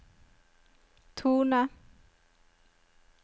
tone